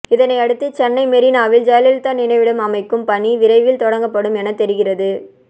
இதனையடுத்து சென்னை மெரீனாவில் ஜெயலலிதா நினைவிடம் அமைக்கும் பணி விரைவில் தொடங்கப்படும் என தெரிகிறது